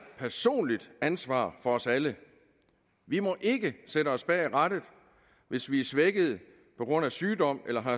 personligt ansvar for os alle vi må ikke sætte os bag rattet hvis vi er svækket på grund af sygdom eller